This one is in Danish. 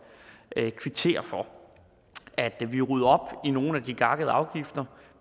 kvittere for vi rydder op i nogle af de gakkede afgifter